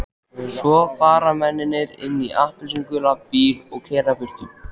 Svo fara mennirnir inn í appelsínugulan bíl og keyra burtu.